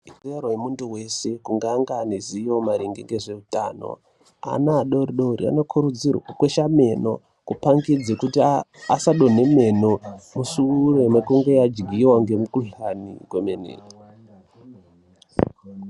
Ikodzero yemuntu wese kunge ange ane zivo maringe ngezveutano. Ana adoridori anokurudzirwa kukwesha meno kupangidza kuti asadonhe meno, mushure mekunge yadyiwa ngemukuhlani kwemene.